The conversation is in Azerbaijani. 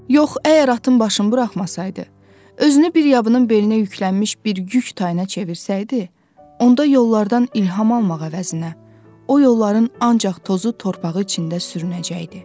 Yox, əgər atın başını buraxmasaydı, özünü bir yabanın belinə yüklənmiş bir yük tayına çevirsəydi, onda yollardan ilham almağa əvəzinə, o yolların ancaq tozu, torpağı içində sürünəcəkdi.